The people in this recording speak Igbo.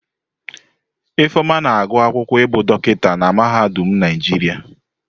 Ifeoma na-agụ akwụkwọ ibu dokita na mahadum Naijiria.